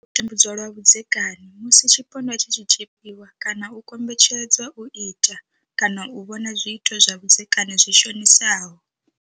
U tambudzwa lwa vhudzekani, Musi tshipondwa tshi tshi tshipiwa kana u kombetshedzwa u ita kana u vhona zwiito zwa vhudzekani zwi shonisaho